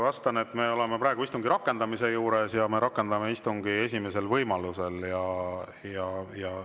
Vastan, et me oleme praegu istungi rakendamise juures ja rakendame istungi esimesel võimalusel.